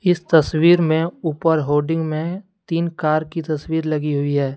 इस तस्वीर में उपर होर्डिंग में तीन कार की तस्वीर लगी हुई है।